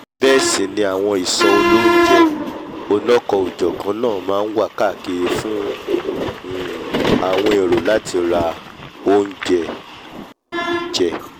bẹ́ẹ̀ sì ni àwọn ìsọ̀ olóúnjẹ́ onikanòjọ̀kan náà máa nwà káàkiri fún um àwọn èrò láti ra óújẹ um jẹ